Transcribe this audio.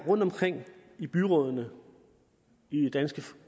rundt omkring i byrådene i det danske